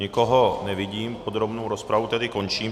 Nikoho nevidím, podrobnou rozpravu tedy končím.